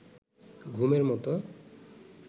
ঘুমের মতো